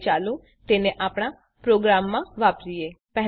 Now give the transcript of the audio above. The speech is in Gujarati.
હવે ચાલો તેને આપણા પ્રોગ્રામમાં વાપરીએ